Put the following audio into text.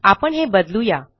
आपण हे बदलू या